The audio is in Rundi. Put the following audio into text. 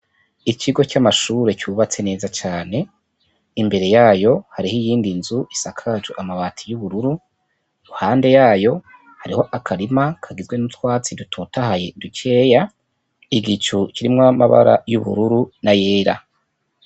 Ikigo c'amashure cubatse neza cane, imbere yayo hariho iyindi nzu isakaje amabati y'ubururu, iruhande yayo hariho akarima kagizwe n'utwatsi dutotahaye dukeya, igicu kirimwo amabara y'ubururu na yera.